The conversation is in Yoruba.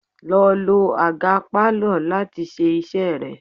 Lọ lo àga Pálọ̀ láti ṣe iṣẹ́ rẹ!